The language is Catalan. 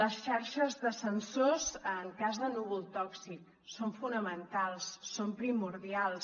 les xarxes de sensors en cas de núvol tòxic són fonamentals són primordials